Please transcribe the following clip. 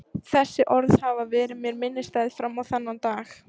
Þessi orð hafa verið mér minnisstæð fram á þennan dag.